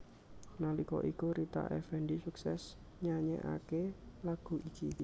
Nalika iku Rita Effendy suksès nyanyèkaké lagu iki